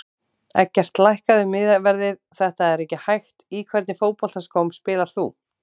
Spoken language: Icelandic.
Eggert lækkaðu miðaverðið þetta er ekki hægt Í hvernig fótboltaskóm spilar þú?